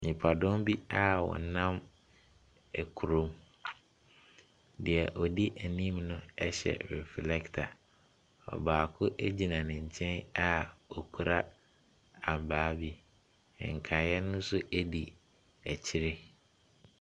Nipadɔm bi a ɔnam ekuro mu. Deɛ ɔdi ɛnim no ɛhyɛ reflector. Baako egyina ne nkyɛn a ɔkura abaa bi. Nkaeɛ no nso edi ɛkyire.